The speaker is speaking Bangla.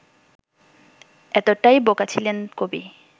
এতটাই বোকা ছিলেন কবি